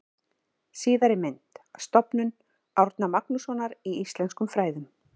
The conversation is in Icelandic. Síðari mynd: Stofnun Árna Magnússonar í íslenskum fræðum.